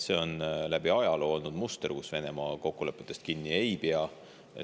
Läbi ajaloo on olnud see muster, et Venemaa kokkulepetest kinni ei pea.